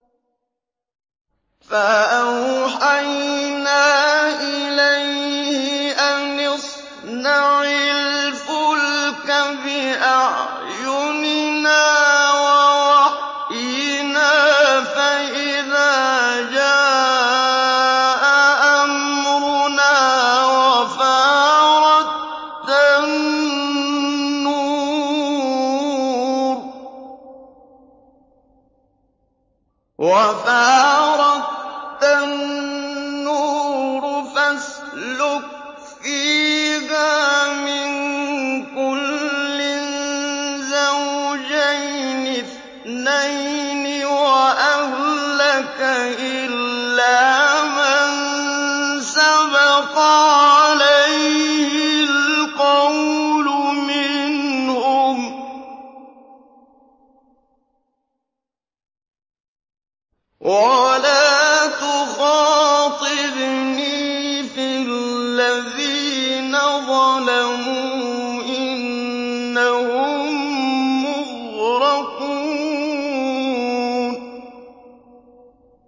فَأَوْحَيْنَا إِلَيْهِ أَنِ اصْنَعِ الْفُلْكَ بِأَعْيُنِنَا وَوَحْيِنَا فَإِذَا جَاءَ أَمْرُنَا وَفَارَ التَّنُّورُ ۙ فَاسْلُكْ فِيهَا مِن كُلٍّ زَوْجَيْنِ اثْنَيْنِ وَأَهْلَكَ إِلَّا مَن سَبَقَ عَلَيْهِ الْقَوْلُ مِنْهُمْ ۖ وَلَا تُخَاطِبْنِي فِي الَّذِينَ ظَلَمُوا ۖ إِنَّهُم مُّغْرَقُونَ